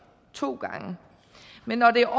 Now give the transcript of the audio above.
to gange men når det er